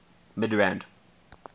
midrand